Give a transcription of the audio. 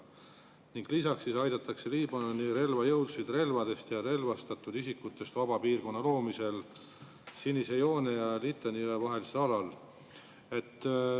Ning lisaks aidatakse Liibanoni relvajõudusid relvadest ja relvastatud isikutest vaba piirkonna loomisel sinise joone ja Litani jõe vahelisel alal.